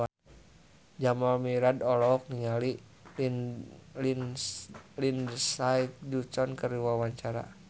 Jamal Mirdad olohok ningali Lindsay Ducan keur diwawancara